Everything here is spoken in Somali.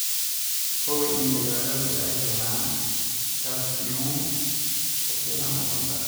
Hubi in digaagadu ay helaan kalsiyum ku filan ukunta.